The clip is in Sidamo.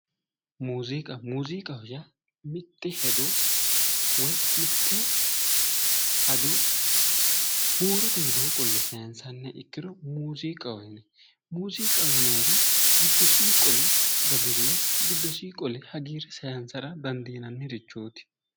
Muziiqa, muziiqaho yaa mite hedo woyi mite hajo huurote widooni qolle saysaniha ikkiro muziiqaho yinne, muziiqaho yinanniri giddosini qole dadile giddosini qole hagiire saysara dandiinanirichoti.